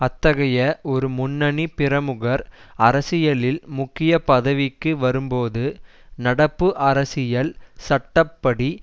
அத்தகைய ஒரு முன்னணி பிரமுகர் அரசியலில் முக்கிய பதவிக்கு வரும்போது நடப்பு அரசியல் சட்ட படி